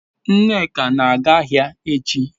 nneka na-aga ahia echi